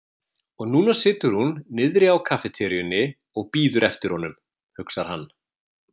Og núna situr hún niðri á kaffiteríunni og bíður eftir honum, hugsar hann.